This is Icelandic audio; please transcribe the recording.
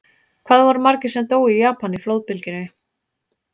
Hvað voru margir sem dóu í Japan í flóðbylgjunni?